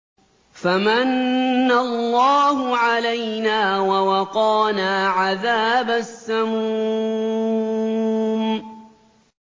فَمَنَّ اللَّهُ عَلَيْنَا وَوَقَانَا عَذَابَ السَّمُومِ